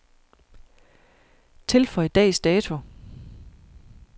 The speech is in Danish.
Tilføj dags dato.